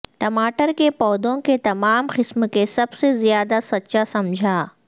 ٹماٹر کے پودوں کے تمام قسم کے سب سے زیادہ سچا سمجھا